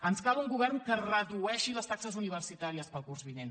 ens cal un govern que redueixi les taxes universitàries per al curs vinent